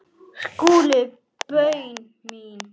SKÚLI: Bauja mín!